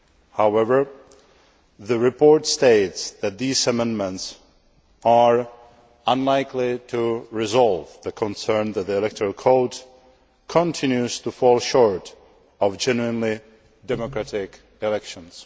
However, the report states that these amendments are unlikely to resolve the concerns that the electoral code continues to fall short of genuinely democratic elections.